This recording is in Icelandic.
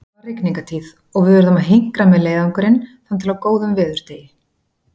Það var rigningartíð og við urðum að hinkra með leiðangurinn þangað til á góðum veðurdegi.